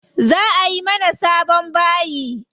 Za ayi mana sabon bayi.